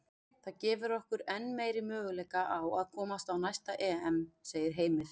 Það gefur okkur enn meiri möguleika á að komast á næsta EM, segir Heimir.